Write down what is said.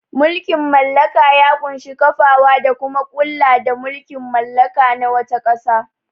Mulkin mallaka ya ƙunshi kafawa da kuma kula da mulkin mallaka na wata ƙasa.